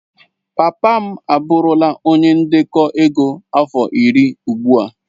Papa m abụrụla onye ndekọ ego afọ iri ugbu a.